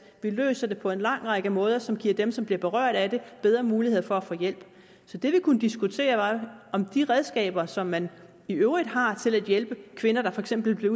vi løser det på en lang række måder som giver dem som bliver berørt af det bedre muligheder for at få hjælp så det vi kunne diskutere var om de redskaber som man i øvrigt har til at hjælpe kvinder der for eksempel bliver